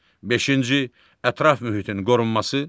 Beşinci ətraf mühitin qorunması.